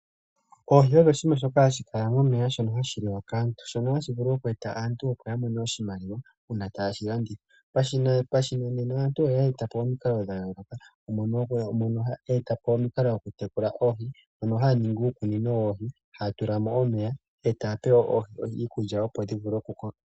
Oohi odho oshinima shoka hashi kala momeya shono hashi liwa kaantu , shono hashi vulu okweeta aantu opo ya mone oshimaliwa uuna taye shi landitha. Pashinanena aantu oyeeta po omikalo dha yooloka mono yeeta po omikalo dhokutekula oohi ano haya ningi uukunino woohi haya tulamo omeya etaya pe oohi iikulya opo dhivule okukoka.